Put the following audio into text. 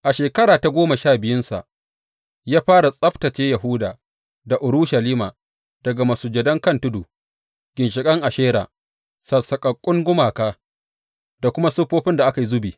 A shekara ta goma sha biyunsa ya fara tsabtacce Yahuda da Urushalima daga masujadan kan tudu, ginshiƙan Ashera, sassaƙaƙƙun gumaka da kuma siffofin da aka yi zubi.